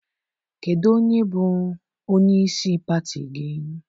Kedụ onye bụ onyeisi pati gị?